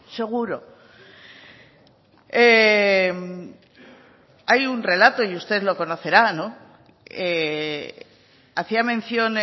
seguro hay un relato y usted lo conocerá hacía mención